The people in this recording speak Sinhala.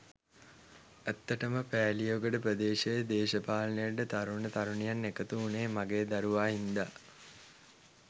ඇත්තටම පෑලියගොඩ ප්‍රදේශයේ දේශපාලනයට තරුණ තරුණියන් එකතු වුණේ මගේ දරුවා හින්දා.